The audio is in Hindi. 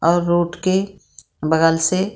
और रूट के बगल से --